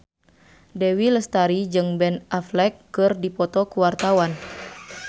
Dewi Lestari jeung Ben Affleck keur dipoto ku wartawan